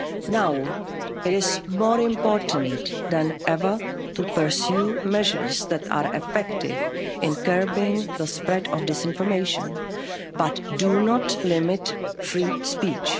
of media. Now it is more important than ever to pursue measures that are effective in curbing the spread of disinformation but do not limit free